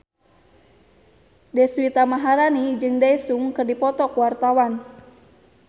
Deswita Maharani jeung Daesung keur dipoto ku wartawan